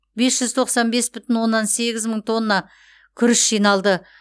бес жүз тоқсан бес бүтін оннан сегіз мың тонна күріш жиналды